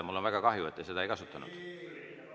Mul on väga kahju, et te seda ei ole kasutanud.